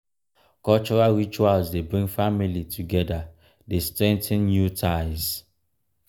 cultural rituals dey bring family together dey strengthen new ties.